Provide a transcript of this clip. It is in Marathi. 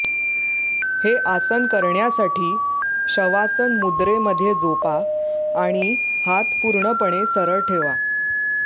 हे आसन करण्यासाठी शवासन मुद्रेमध्ये झोपा आणि हात पूर्णपणे सरळ ठेवा